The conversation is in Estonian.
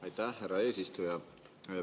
Aitäh, härra eesistuja!